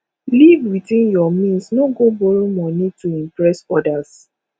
live within your means no go borrow monie to impress others